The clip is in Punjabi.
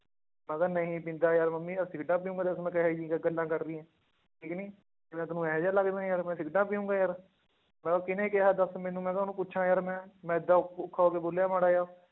ਮੈਂ ਕਿਹਾ ਨਹੀਂ ਪੀਂਦਾ ਯਾਰ ਮੰਮੀ ਮੈਂ ਸਿਗਰਟਾਂ ਪੀਊਂਗਾ ਦੱਸ ਮੈਂ ਕਿਹੋ ਜਿਹੀਆਂ ਗ~ ਗੱਲਾਂ ਕਰਦੀ ਹੈ, ਠੀਕ ਨੀ, ਵੀ ਮੈਂ ਤੈਨੂੰ ਇਹੋ ਜਿਹਾ ਲੱਗਦਾ ਯਾਰ ਮੈਂ ਸਿਗਰਟਾਂ ਪੀਊਂਗਾ ਯਾਰ, ਮੈਂ ਕਿਹਾ ਕਿਹਨੇ ਕਿਹਾ ਦੱਸ ਮੈਨੂੰ ਮੈਂ ਕਿਹਾ ਉਹਨੂੰ ਪੁੱਛਾਂ ਯਾਰ ਮੈਂ, ਮੈਂ ਇੱਡਾ ਔਖਾ ਹੋ ਕੇ ਬੋਲਿਆ ਮਾੜਾ ਜਿਹਾ